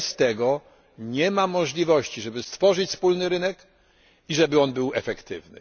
Bez tego nie ma możliwości, żeby stworzyć wspólny rynek i żeby był on efektywny.